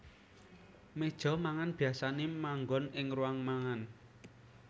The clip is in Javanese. Méja mangan biyasané manggon ing ruang mangan